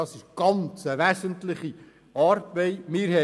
Es handelt sich um eine sehr wesentliche Arbeit.